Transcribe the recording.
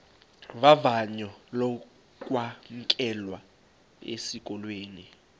vavanyo lokwamkelwa esikolweni